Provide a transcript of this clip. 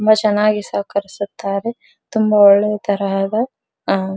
ತುಂಬಾ ಚೆನ್ನಾಗಿ ಸಹಕರಿಸುತ್ತಿದೆ ತುಂಬಾ ಥರ ಇದೆ.